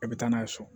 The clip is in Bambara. E bɛ taa n'a ye so